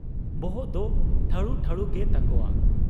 ᱵᱚᱦᱚᱜ ᱫᱚ ᱴᱷᱟᱹᱲᱩ ᱴᱷᱟᱹᱲᱩᱜᱮ ᱛᱟᱠᱚᱣᱟ ᱾